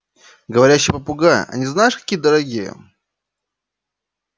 говорящие попугаи они знаешь какие дорогие